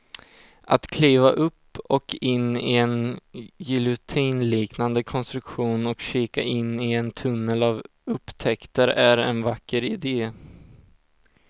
Att kliva upp och in i en giljotinliknande konstruktion och kika in i en tunnel av upptäckter är en vacker idé.